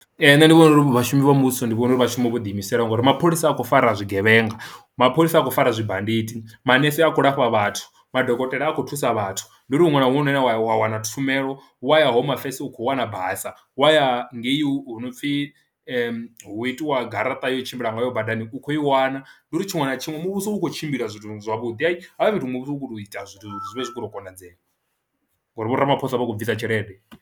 Ee, nṋe ndi vhona uri vhashumi vha muvhuso ndi vhona uri vha shume vho ḓi imisela ngori mapholisa a khou fara zwigevhenga mapholisa a khou fara zwibandidi, manese a kho lafha vhathu, madokotela a khou thusa vhathu. Ndi uri huṅwe na huṅwe hune wa ya wa wana tshumelo wa ya home affairs u kho wana basa, wa ya ngei u no pfhi hu itiwa garaṱa ya u tshimbila ngayo badani u kho i wana ndi uri tshiṅwe na tshiṅwe muvhuso u khou tshimbila zwithu zwavhuḓi, hafha fhethu muvhuso u khou to ita zwithu zwi vhe zwi khou tou konadzea ngori vho Ramaphosa vha khou bvisa tshelede.